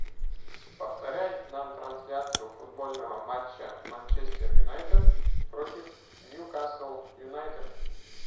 повторяй нам трансляцию футбольного матча манчестер юнайтед против ньюкасл юнайтед